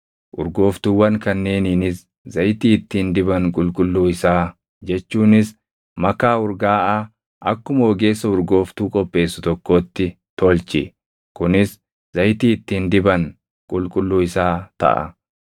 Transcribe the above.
Urgooftuuwwan kanneeniinis zayitii ittiin diban qulqulluu isaa jechuunis makaa urgaaʼaa akkuma ogeessa urgooftuu qopheessu tokkootti tolchi. Kunis zayitii ittiin diban qulqulluu isaa taʼa.